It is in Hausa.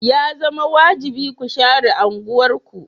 Ya zama wajibi ku share unguwarku.